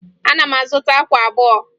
Ana m azụta akwa abụọ